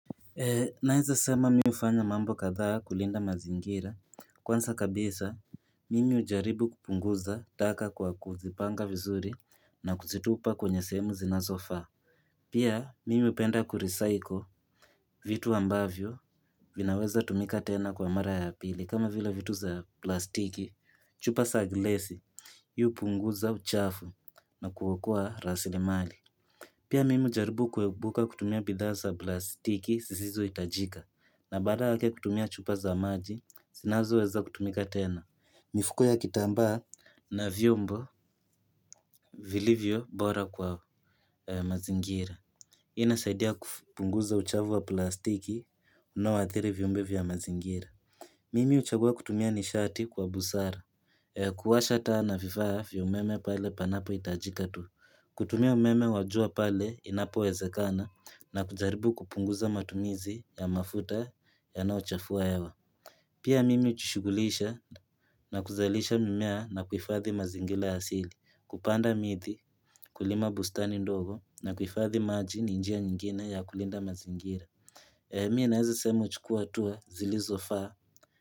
Naeza sema mi ufanya mambo kadhaa kulinda mazingira kwanza kabisa mimi ujaribu kupunguza taka kwa kuzipanga vizuri na kuzitupa kwenye sehemu zinazofaa Pia mimi upenda kurisaiko vitu ambavyo vinaweza tumika tena kwa mara ya pili kama vile vitu za plastiki chupa sa glesi yu upunguza uchafu na kuokoa rasili mali Pia mimi ujaribu kuebuka kutumia bidhaa za plastiki sisizo itajika na baada yake kutumia chupa za maji sinazo weza kutumika tena mifuko ya kitambaa na vyombo vilivyo bora kwa mazingira inasaidia kufpunguza uchavu wa plastiki unaoathiri viumbe vya mazingira Mimi uchagua kutumia nishati kwa busara kuwasha taa na vifaa fya umeme pale panapo itajika tu kutumia umeme wajua pale inapo wezekana na kujaribu kupunguza matumizi ya mafuta yanaochafua hewa. Pia mimi uchishughulisha na kuzalisha mimea na kuifadhi mazingila asili. Kupanda mithi, kulima bustani ndogo na kuifadhi maji ni njia nyingine ya kulinda mazingira. Emi na ezi sema uchukua tuwa zili zofaa.